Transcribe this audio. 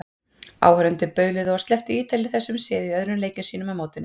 Áhorfendur bauluðu og slepptu Ítalir þessum sið í öðrum leikjum sínum á mótinu.